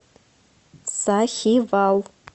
сахивал